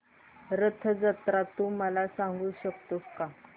रथ जत्रा तू मला सांगू शकतो का